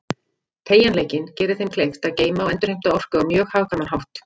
Teygjanleikinn gerir þeim kleift að geyma og endurheimta orku á mjög hagkvæman hátt.